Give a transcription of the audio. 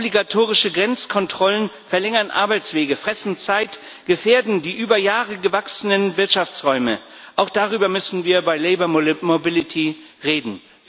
Obligatorische Grenzkontrollen verlängern Arbeitswege, fressen Zeit, gefährden die über Jahre gewachsenen Wirtschaftsräume. Auch darüber müssen wir bei Arbeitnehmermobilität reden.